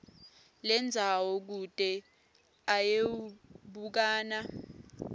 lendzawo kute ayewubukana